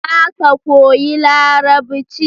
Za ka koyi larabci